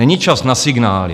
Není čas na signály.